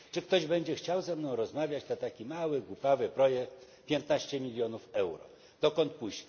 Czy ktoś będzie chciał ze mną rozmawiać, to taki mały, głupawy projekt piętnaście milionów euro, dokąd pójść?